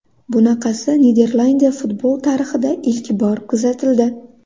Bunaqasi Niderlandiya futboli tarixida ilk bor kuzatildi.